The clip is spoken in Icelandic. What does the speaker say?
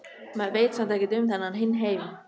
Maður veit samt ekkert um þennan hinn heim.